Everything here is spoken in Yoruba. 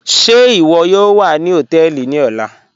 Ṣẹ́ iwo yóò wà sí hotẹẹlì ní ọlá?